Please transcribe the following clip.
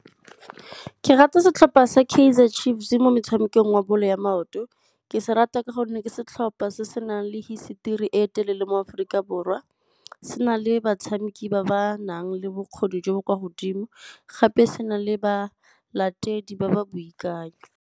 Ke rata setlhopha sa Kaizer Chiefs mo metshamekong wa bolo ya maoto. Ke se rata ka gonne ke setlhopha se se nang le hisetori e telele mo Aforika Borwa. Se na le batshameki ba ba nang le bokgoni jo bo kwa godimo, gape se na le balatedi ba ba boikanyo.